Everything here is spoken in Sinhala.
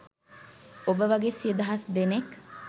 ඔබ වගේ සිය දහස් දෙනෙක්